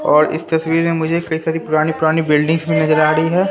और इस तस्वीर मुझे कई सारी पुरानी पुरानी बिल्डिंग्स भी नजर आ रही है।